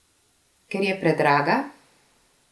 Ker je predraga?